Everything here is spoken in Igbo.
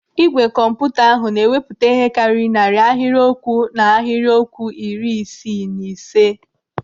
Igwe kọmputa ahụ na-ewepụta ihe karịrị narị ahịrịokwu na ahịrịokwu iri isii na ise.